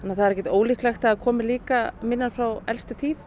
það er ekkert ólíklegt að það komi líka minjar frá elstu tíð